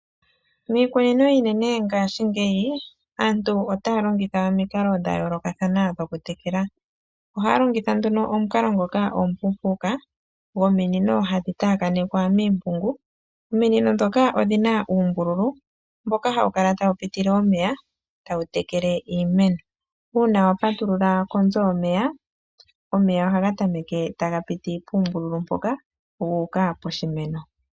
Miikunino iinene ngaashingeyi aantu otaya longitha omikalo dhayooloka kathana dhoku tekela. Ohaya longitha nduno omukalo ngoka omupuupuka gwo minino hadhi taakanekwa miimpungu. Ominino ndhoka odhina uumbululu mpoka hapu kala tawu pitile omeya taga tekele iimeno uuna wa patulula konzo yomeya, omeya ohaga tameke taga pitile puumbululu mpoka guuka po shimeno.